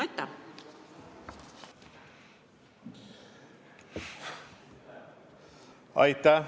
Aitäh!